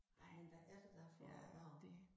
Nej men hvad er det der foregår